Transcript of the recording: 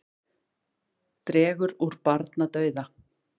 Dregur úr barnadauða